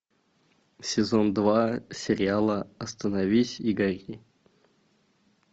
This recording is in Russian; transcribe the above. сезон два сериала остановись и гори